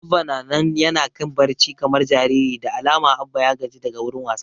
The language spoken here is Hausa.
Abba na nan yana kan barci kamar jariri, da alama Abba ya gaji daga wurin wasa